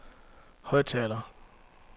højttaler